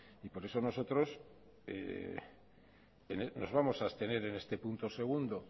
y por eso nosotros nos vamos a abstener en este punto segundo